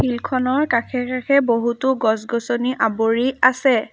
Field খনৰ কাষে কাষে বহুতো গছ-গছনি আৱৰি আছে।